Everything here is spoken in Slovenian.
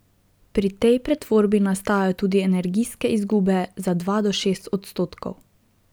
Pri tej pretvorbi nastajajo tudi energijske izgube za dva do šest odstotkov.